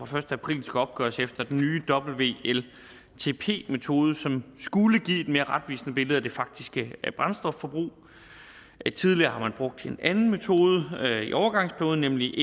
første april skal opgøres efter den nye wltp metode som skulle give et mere retvisende billede af det faktiske brændstofforbrug tidligere har man brugt en anden metode i overgangsperioden nemlig